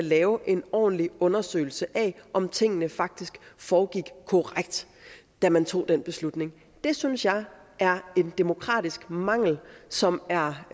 lave en ordentlig undersøgelse af om tingene faktisk foregik korrekt da man tog den beslutning det synes jeg er en demokratisk mangel som er